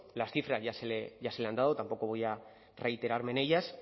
las cifras ya se le han dado tampoco voy a reiterarme en ellas